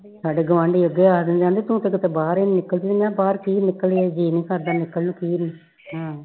ਸਾਡੇ ਗਵਾਂਢੀ ਅਗੇ ਆਖਦੇ ਕਿ ਤੂੰ ਤਾ ਕਦੇ ਬਾਹਰ ਹੀ ਨੀ ਨਿਕਲਦੀ ਮੈ ਕਯਾ ਬਾਹਰ ਕਿ ਨਿਕਲੀਏ ਜੀ ਹੀ ਨੀ ਕਰਦਾ ਨਿਕਲ ਨੂੰ ਹਾਂ